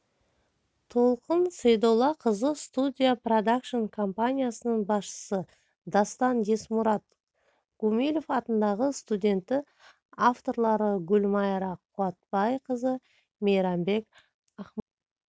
толқын сейдоллақызы студия продакшн компаниясының басшысы дастан есмұрат гумилев атындағы студенті авторлары гүлмайра қуатбайқызы мейрамбек ақмаханов